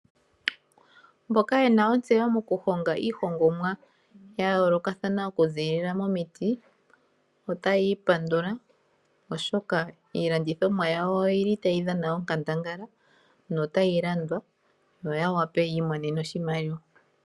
Mboka yena ontseyo mokuhonga iihongomwa ya yoolokathana okuziilila momiti otayi ipandula oshoka iilandithomwa yawo oyili tayi dhana onkandangala notayi landwa noya wape yiimonene oshimaliwa.